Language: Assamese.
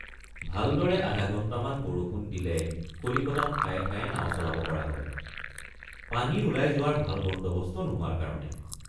ভালদৰে আধাঘণ্টামান বৰষুণ দিলে কলিকতাত ঠায়ে ঠায়ে নাও চলাব পৰা হয়—পানী ওলাই যোৱাৰ ভাল বন্দৱস্ত নোহোৱাৰ কাৰণে।